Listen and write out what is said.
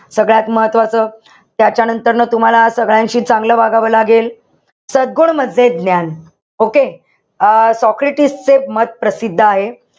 सगळ्यात महत्वाचं. त्याच्यानंतर तुम्हाला सगळ्यांशी चांगलं वागावं लागेल. सद्गुण म्हणजे ज्ञान. Okay? अं सॉक्रेटिस चे मत प्रसिद्ध आहे.